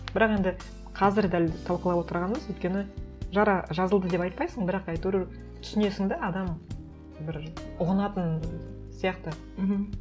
бірақ енді қазір дәл талқылап отырғанынымыз өйткені жара жазылды деп айтпайсың бірақ әйтеуір түсінесің де адам бір ұғынатын сияқты мхм